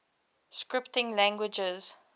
scripting languages